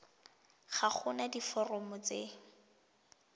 ga go na diforomo tse